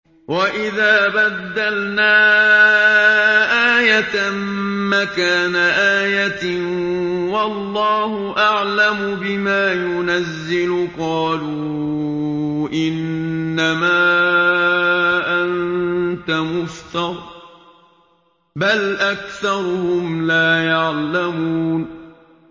وَإِذَا بَدَّلْنَا آيَةً مَّكَانَ آيَةٍ ۙ وَاللَّهُ أَعْلَمُ بِمَا يُنَزِّلُ قَالُوا إِنَّمَا أَنتَ مُفْتَرٍ ۚ بَلْ أَكْثَرُهُمْ لَا يَعْلَمُونَ